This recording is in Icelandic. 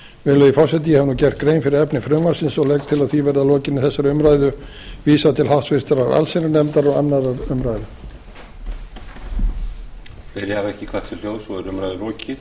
virðulegi forseti ég hef nú gert grein fyrir efni frumvarpsins og legg til að því verði að lokinni þessari umræðu vísað til háttvirtrar allsherjarnefndar og annarrar umræðu